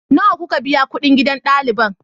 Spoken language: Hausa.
Nawa kuka biya kuɗin gidan ɗaliban?